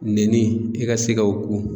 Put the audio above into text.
Nɛni e ka se ka o ku.